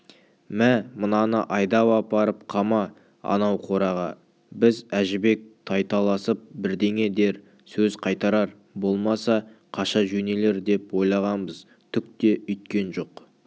мә мынаны айдап апарып қама анау қораға біз әжібек тайталасып бірдеңе дер сөз қайтарар болмаса қаша жөнелер деп ойлағанбыз түк те өйткен жоқ